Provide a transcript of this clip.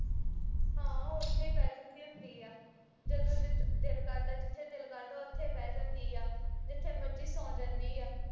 ਹਾਂ ਉਥੇ ਈ ਬਹਿ ਜਾਂਦੀ ਹੁੰਦੀ ਆ ਜਦੋਂ ਜਿਥੇ ਦਿਲ ਕਰਦਾ ਜਿਥੇ ਦਿਲ ਕਰਦਾ ਉਥੇ ਬਹਿ ਜਾਂਦੀ ਆ ਜਿਥੇ ਮਰਜੀ ਸੌ ਜਾਂਦੀ ਆ